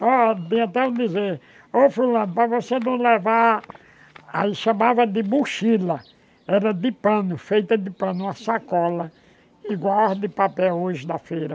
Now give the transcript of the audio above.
O tem até um dizer, ô fulano, para você não levar, aí chamava de mochila, era de pano, feita de pano, uma sacola, igual as de papel hoje da feira.